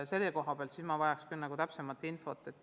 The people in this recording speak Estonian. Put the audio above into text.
Selle kohta ma vajaks küll täpsemat infot.